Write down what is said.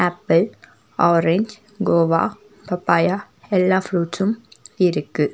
Apple orange guava papaya எல்லா ஃப்ரூட்சும் இருக்கு.